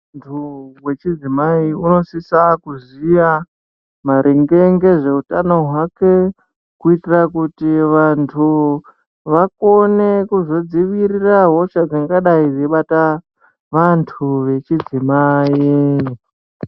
Muntu wechidzimai unosisa kuziya maringe nezvehutano hwake kuitira kuti vantu vakone kuzodzivirira hosha dzingadai dzeibata vantu vechidzimai.